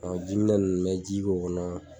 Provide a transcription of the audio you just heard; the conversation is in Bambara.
A ka jiminɛn nunnu n ka ji k'o kɔnɔ